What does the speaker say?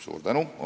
Suur tänu!